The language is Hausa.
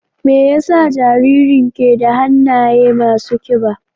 Me yasa jaririn ke da hannaye masu kiba?